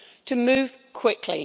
to move quickly.